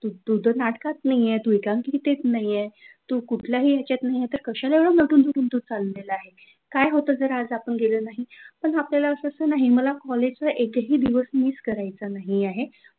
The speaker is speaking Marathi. तू तर नाटकात नाहीये, तू तर एकांकिकात नाहीये, तू कुठल्याही विषयात नाही तर तू कशाला नटून थटून तू चालला आहे? काय होतं जर आपण आज गेलो नाही, पण आपल्याला असं असंत नाही मला कॉलेजचा एकही दिवस मिस करायचा नाही आहे.